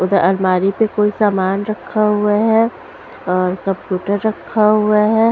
उधर अलमारी पे कोई सामान रखा हुआ है और कंप्यूटर रखा हुआ है।